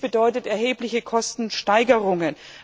Dies bedeutet erhebliche Kostensteigerungen.